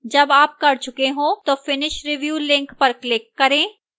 जब आप कर चुके हों तो finish review link पर click करें